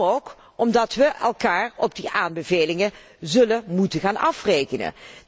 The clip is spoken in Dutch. Ook omdat we elkaar op die aanbevelingen zullen moeten gaan afrekenen.